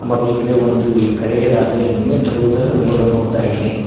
ಹಾಗು ಈ ಕಡೆ ಒಂದು ಕರೆಯದಾದ ಹೆಲ್ಮೆಟ್ ಇರುವುದ್ದನ್ನು ನೋಡಬಹುದಾಗಿದೆ.